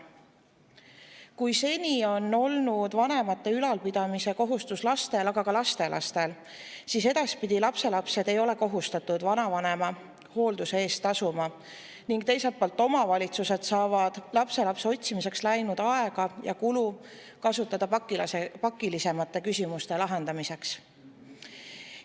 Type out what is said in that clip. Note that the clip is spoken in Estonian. Kui seni on olnud vanemate ülalpidamise kohustus lastel ja ka lastelastel, siis edaspidi lapselapsed ei ole kohustatud vanavanemate hoolduse eest tasuma ning teiselt poolt saavad omavalitsused hakata kasutama seda aega ja raha, mis varem kulus lapselapse otsimiseks, pakilisemate küsimuste lahendamiseks.